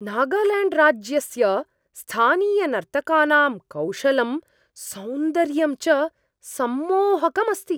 नागाल्याण्ड्राज्यस्य स्थानीयनर्तकानां कौशलं सौन्दर्यं च सम्मोहकम् अस्ति।